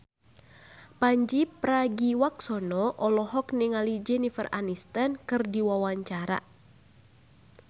Pandji Pragiwaksono olohok ningali Jennifer Aniston keur diwawancara